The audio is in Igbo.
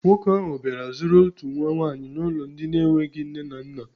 Nwoke ahụ bịara zụrụ otu nwa nwaanyị n'ụlọ ndị na-enweghi nne na nna.